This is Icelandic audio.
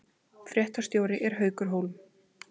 Fréttastjóri er Haukur Hólm